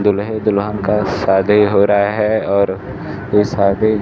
दूल्हे दुल्हन का शादी हो रहा है और ये शादी--